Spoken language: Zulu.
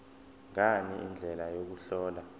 ngani indlela yokuhlola